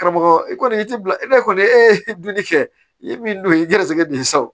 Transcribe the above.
Karamɔgɔ i kɔni i ti bila i bɛ kɔni e dun bɛ cɛ i ye min ye i garisigɛ don sa o